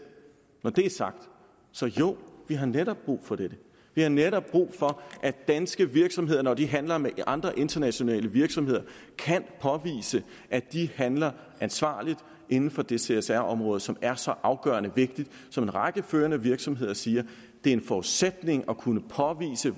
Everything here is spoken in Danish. når det er sagt så jo vi har netop brug for dette vi har netop brug for at danske virksomheder når de handler med andre internationale virksomheder kan påvise at de handler ansvarligt inden for det csr område som er så afgørende og vigtigt og en række førende virksomheder siger at det er en forudsætning at kunne påvise